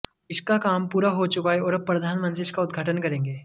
इसका काम पूरा हो चुका है और अब प्रधानमंत्री इसका उद्घाटन करेंगे